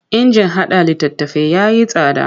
Injin haɗa littattafai ya yi tsada.